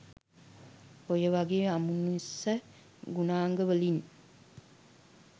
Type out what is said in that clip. ඔය වාගේ අමනුස්ස ගුණාංග වලින්